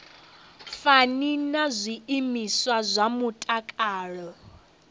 fani na zwiimiswa zwa mutakalo